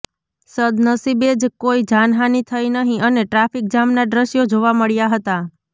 સદનસીબે જ કોઈ જાનહાની થઈ નહી અને ટ્રાફીક જામના દ્રશ્યો જોવા મળ્યા હતા